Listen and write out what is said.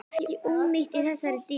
Ekki ónýtt í þessari dýrtíð.